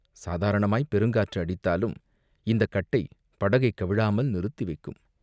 சாதாரணமாய்ப் பெருங்காற்று அடித்தாலும் இந்தக் கட்டை படகைக் கவிழாமல் நிறுத்தி வைக்கும்.